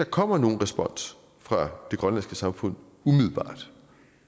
kommer nogen respons fra det grønlandske samfund